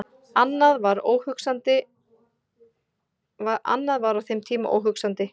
Annað var á þeim tíma óhugsandi.